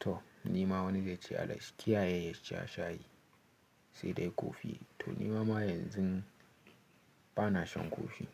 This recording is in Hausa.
To ni ma wani zai ce Allah shi kiyaye ya sha shayi sai dai kofi. To ni ma yanzun bana shan kofi.